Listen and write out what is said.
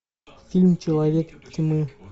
фильм человек тьмы